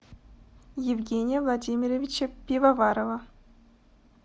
евгения владимировича пивоварова